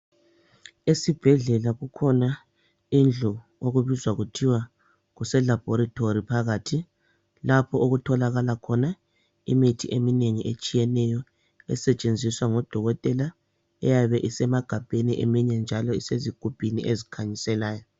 Esibhedlela kukhona indlu okubizwa kuthiwa kuselabhorethori phakathi, lapho okutholakala khona imithi eminengi etshiyeneyo, esetshenziswa ngodokotela, eyabe esemagabheni eminye njalo isezigubhini ezikhanyiselayo.